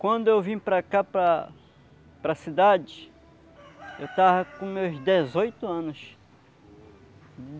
Quando eu vim para cá, para para a cidade, eu tava com meus dezoito anos.